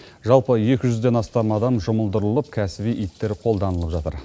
жалпы екі жүзден астам адам жұмылдырылып кәсіби иттер қолданылып жатыр